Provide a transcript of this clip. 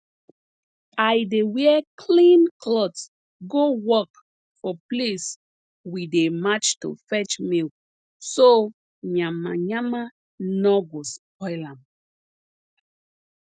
i dey wear clean cloth go work for place we dey march to fetch milk so yamayama nor go spoil am